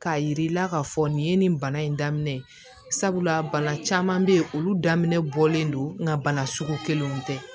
K'a yir'i la k'a fɔ nin ye nin bana in daminɛ sabula bana caman bɛ yen olu daminɛ bɔlen don n ka bana sugu kelen in tɛ